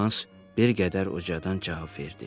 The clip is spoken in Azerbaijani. deyə Hans bir qədər ucadan cavab verdi.